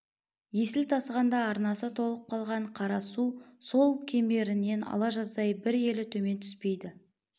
есіл тасығанда арнасы толып қалған қара су сол кемерінен ала жаздай бір елі төмен түспейді